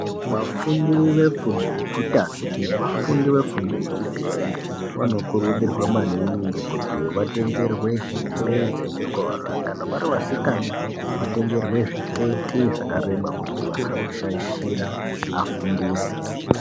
Vafundi zvefundo yekutanga nevafundi vefundo yechipiri vanokurudzirwa maningi kuti vatengerwe hembe dzechikora. Kana vari vasikana vatengerwe zviketi zvakareba kuti vasazoshaishira vafundisi.